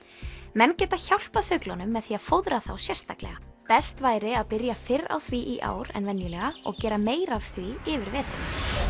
menn geta hjálpað fuglunum með því að fóðra þá sérstaklega best væri að byrja fyrr á því í ár en venjulega og gera meira af því yfir veturinn